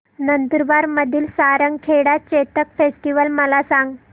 नंदुरबार मधील सारंगखेडा चेतक फेस्टीवल मला सांग